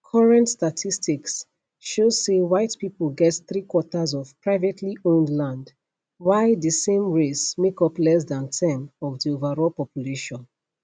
current statistics show say white pipo get three quarters of privatelyowned land while di same race make up less dan ten of di overall population